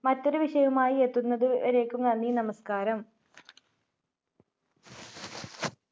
മറ്റൊരു വിഷയവുമായി എത്തുന്നത് വരേക്കും നന്ദി, നമസ്ക്കാരം.